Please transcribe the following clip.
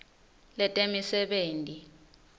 letemisebenti